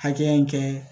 Hakɛya in kɛ